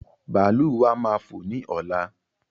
Bàálù wa máa fò ní ọ̀la